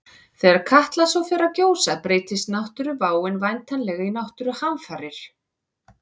Þegar Katla svo fer að gjósa breytist náttúruváin væntanlega í náttúruhamfarir.